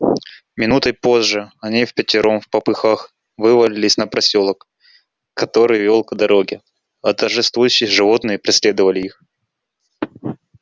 минутой позже они впятером впопыхах вывалились на просёлок который вёл к дороге а торжествующие животные преследовали их